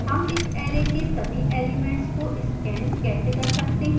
how इस array के सभी elements को scan कैसे कर सकते हैं